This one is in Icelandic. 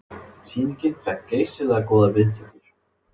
Sýningin fékk geysilega góðar viðtökur